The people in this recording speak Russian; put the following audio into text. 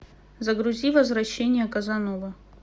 загрузи возвращение казановы